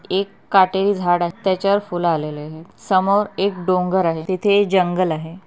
एक काटेरी झाड आहे त्याच्या वर फूल आलेले आहे समोर एक डोंगर आहे तेथे जंगल आहे.